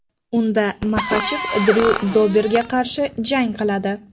Unda Maxachev Dryu Doberga qarshi jang qiladi.